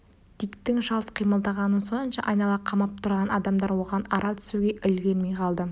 диктің шалт қимылдағаны сонша айнала қамап тұрған адамдар оған ара түсуге үлгермей қалды